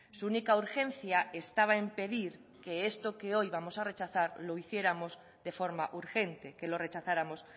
su única urgencia estaba en pedir que esto que hoy vamos a rechazar lo hiciéramos de forma urgente que lo rechazáramos